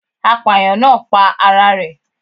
Apàyàǹ náà pa ara rẹ̀